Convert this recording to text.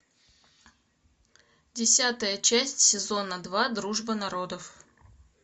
десятая часть сезона два дружба народов